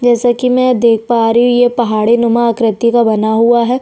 जैसा की मै देख पा रही हूँ ये पहाड़ी नुमा आकृति का बना है।